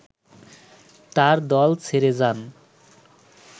তার দল ছেড়ে যান